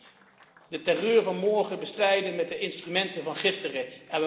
We kunnen niet de terreur van morgen bestrijden met de instrumenten van gisteren.